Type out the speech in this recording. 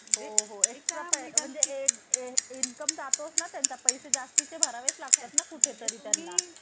त्याचबरोबर तो कुठे आहे तर मार्गदर्शक तत्वामध्ये. तसेच दर्जेचे व संधीचे समानता हा उल्लेख भारतीय राज्यघटनेच्या प्रस्तावनेत आहे आणि त्याचबरोबर मार्गदर्शक तत्वामध्ये सुद्धा आपल्याला आढळून येतो.